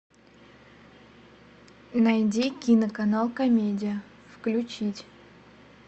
найди кино канал комедия включить